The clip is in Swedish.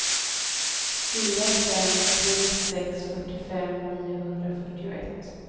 fyra fem tre sex fyrtiofem niohundrafyrtioett